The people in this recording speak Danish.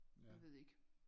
Jeg ved ikke